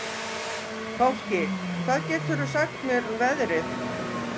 Fálki, hvað geturðu sagt mér um veðrið?